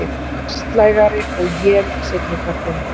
Vestlægari og él seinni partinn